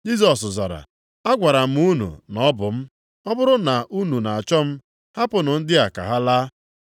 Jisọs zara, “Agwara m unu na Ọ bụ m. Ọ bụrụ na unu na-achọ m, hapụnụ ndị a ka ha laa.”